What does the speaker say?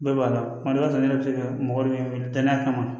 Bɛɛ b'a la kuma dɔ la ne yɛrɛ bɛ se ka mɔgɔ dɔ wele danaya kama